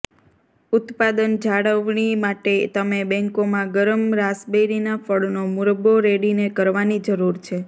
ઉત્પાદન જાળવણી માટે તમે બેંકોમાં ગરમ રાસબેરિનાં ફળનો મુરબ્બો રેડીને કરવાની જરૂર છે